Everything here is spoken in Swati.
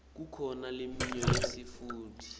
kukhona leminye yesintfu